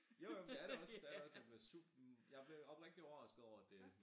Jo jo men det er det også det er det også jeg blev super jeg blev oprigtigt overrasket over at det